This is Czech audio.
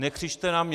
Nekřičte na mě.